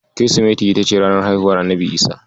Kirsimeti ita ce ranar haihuwar Annabi Isa.